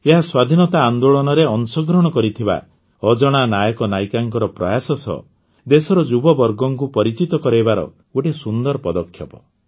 ଏହା ସ୍ୱାଧୀନତା ଆନ୍ଦୋଳନରେ ଅଂଶଗ୍ରହଣ କରିଥିବା ଅଜଣା ନାୟକନାୟିକାଙ୍କ ପ୍ରୟାସ ସହ ଦେଶର ଯୁବବର୍ଗଙ୍କୁ ପରିଚିତ କରାଇବାର ଗୋଟିଏ ସୁନ୍ଦର ପଦକ୍ଷେପ